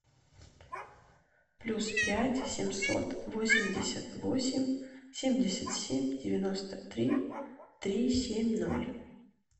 плюс пять семьсот восемьдесят восемь семьдесят семь девяносто три три семь ноль